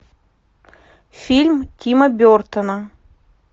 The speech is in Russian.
фильм тима бертона